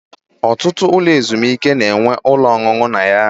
Ọtụtụ ụlọ ezumike na-enwe ụlọ ọṅụṅụ na ya